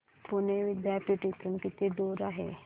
पुणे विद्यापीठ इथून किती दूर आहे